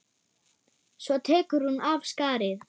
Svo tekur hún af skarið.